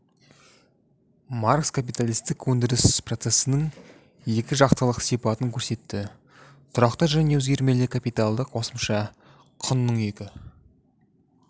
маркс капиталистік өндіріс процесінің екі жақтылық сипатын көрсетті тұрақты және өзгермелі капиталды қосымша құнның екі